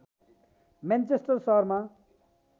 Manchester सहरमा